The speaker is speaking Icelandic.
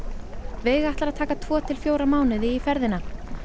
veiga ætlar að taka tvo til fjóra mánuði í ferðina